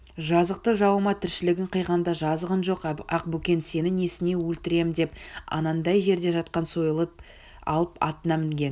жазықты жауыма тіршілігін қиғанда жазығың жоқ ақбөкен сені несіне өлтіремдеп анандай жерде жатқан сойылын алып атына мінген